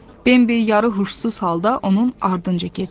Bembi yarı huşsuz halda onun ardınca gedirdi.